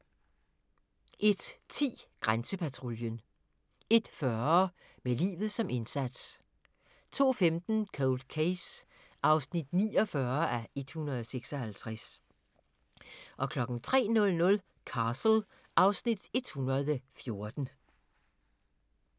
01:10: Grænsepatruljen 01:40: Med livet som indsats 02:15: Cold Case (49:156) 03:00: Castle (Afs. 114)